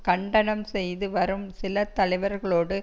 கண்டனம் செய்து வரும் சில தலைவர்களோடு